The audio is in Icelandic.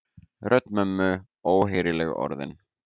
Rödd mömmu, óheyrileg orðin.